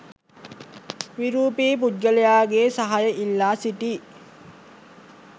විරූපී පුද්ගලයාගේ සහාය ඉල්ලා සිටී